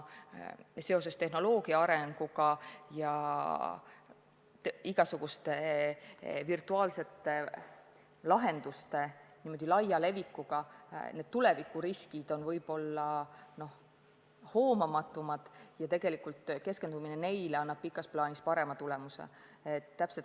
Seoses tehnoloogia arenguga ja igasuguste virtuaalsete lahenduste laia levikuga on tulevikuriskid võib-olla hoomamatumad ja keskendumine neile annab pikas plaanis parema tulemuse.